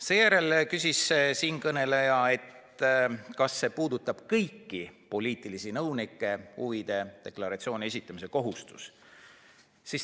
Seejärel küsis siinkõneleja, kas huvide deklaratsiooni esitamise kohustus puudutab kõiki poliitilisi nõunikke.